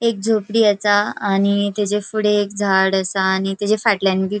एक जोपड़ी आसा आनी तेचे फुड़े एक झाड आसा आनी तेचे फाटल्यान बी --